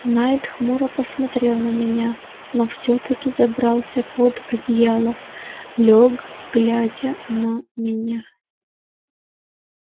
найд хмуро посмотрел на меня но всё-таки забрался под одеяло лёг глядя на меня